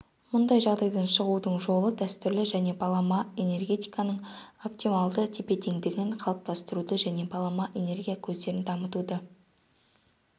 мұндай жағдайдан шығудың жолы дәстүрлі және балама энергетиканың оптималды тепе-теңдігін қалыптастыру және балама энергия көздерін дамытуды